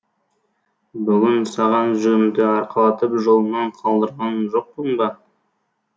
бүгін саған жүгімді арқалатып жолыңнан қалдырған жоқпын ба